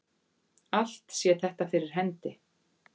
Allt sé þetta fyrir hendi